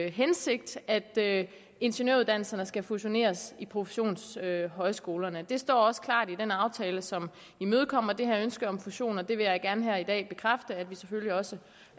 hensigt at ingeniøruddannelserne skal fusioneres i professionshøjskolerne det står også klart i den aftale som imødekommer det her ønske om fusion og det vil jeg gerne her i dag bekræfte at vi selvfølgelig også